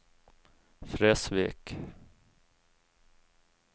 Fresvik